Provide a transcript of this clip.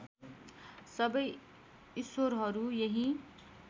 सबै ईश्वरहरू यही